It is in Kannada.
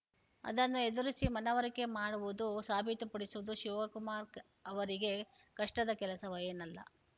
ಅದನ್ನು ಎದುರಿಸಿ ಮನವರಿಕೆ ಮಾಡುವುದು ಸಾಬೀತುಪಡಿಸುವುದು ಶಿವಕುಮಾರ್‌ ಅವರಿಗೆ ಕಷ್ಟದ ಕೆಲಸವೇನಲ್ಲ